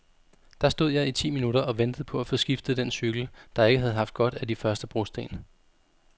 Der stod jeg i ti minutter og ventede på at få skiftet den cykel, der ikke havde haft godt af de første brosten.